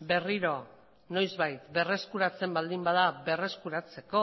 berriro noizbait berreskuratzen baldin bada berreskuratzeko